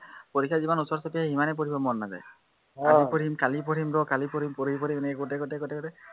পৰীক্ষা যিমান ওচৰ চাপি আহে, সিমানেই পঢ়িব মন নাযায় আজি পঢ়িম কালি পঢ়িম ৰ, কালি পঢ়িম পঢ়িম পঢ়িম এনেকে কওঁতে কওঁতে কওঁতে